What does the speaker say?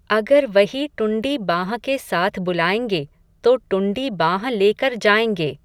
अगर वही टुंडी बाँह के साथ बुलायेंगे, तो टुंडी बाँह लेकर जायेंगे